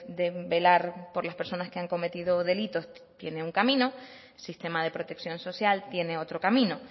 de velar por las personas que han cometido delitos tiene un camino el sistema de protección social tiene otro camino